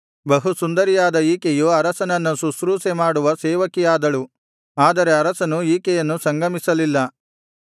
ಬಹು ಸುಂದರಿಯಾದ ಈಕೆಯು ಅರಸನನ್ನು ಶುಶ್ರೂಷೆ ಮಾಡುವ ಸೇವಕಿಯಾದಳು ಆದರೆ ಅರಸನು ಈಕೆಯನ್ನು ಸಂಗಮಿಸಲಿಲ್ಲ